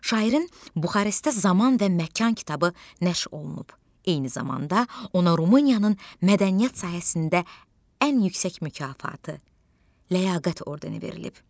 Şairin Buxarestdə "Zaman və Məkan" kitabı nəşr olunub, eyni zamanda ona Rumıniyanın mədəniyyət sahəsində ən yüksək mükafatı "Ləyaqət" ordeni verilib.